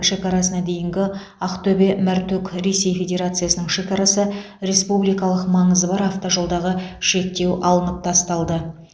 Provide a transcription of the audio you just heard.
шекарасына дейінгі ақтөбе мәртөк ресей федерациясының шекарасы республикалық маңызы бар автожолдағы шектеу алынып тасталды